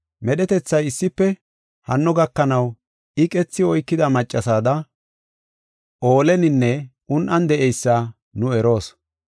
Medhetethay issife hanno gakanaw iqethi oykida maccasada ooleninne un7an de7eysa nu eroos.